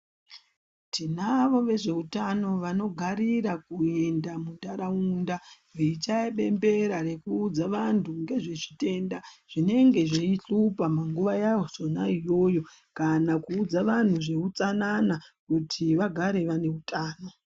Tinavo vezveutano vanogarira kuenda mundaraunda veichichaya bembera nekuudza vantu ngezvechitenda zvinenge zveyuhlupa mungava yazvona iyo kana kuudza vantu zveutsanana kuti vagare vane hutano.